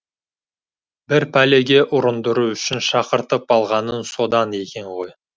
бір пәлеге ұрындыру үшін шақыртып алғаның содан екен ғой